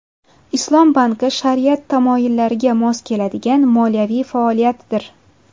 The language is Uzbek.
Islom banki shariat tamoyillariga mos keladigan moliyaviy faoliyatdir.